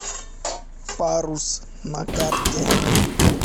парус на карте